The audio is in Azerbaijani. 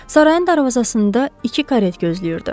Sarayın darvazasında iki karet gözləyirdi.